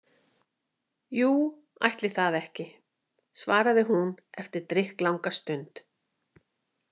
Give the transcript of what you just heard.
Jú, ætli það ekki, svaraði hún eftir drykklanga stund.